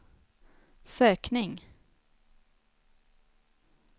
sökning